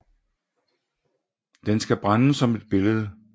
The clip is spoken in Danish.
Den skal brændes som et billede